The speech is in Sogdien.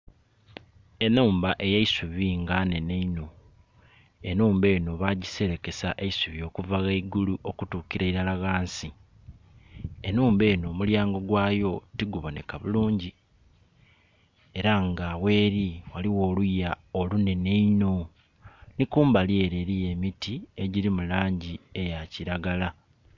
Enhumba ey'eisubi nga nhenhe inho enhumba eno bagiserekesa isubi okuva ghaigulu okutukila ilala ghansi, enhumba eno omulyango gwayo ti guboneka bulungi era nga gheri ghaligho oluya lunene inho ni kumbali ere eriyo emiti egiri mu langi eya kiragala.